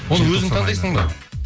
оны өзің таңдайсың ба